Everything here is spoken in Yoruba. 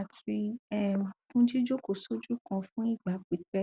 àti um fún jíjókòó sójú kan fún ìgbà pípẹ